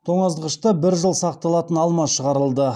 тоңазытқышта бір жыл сақталатын алма шығарылды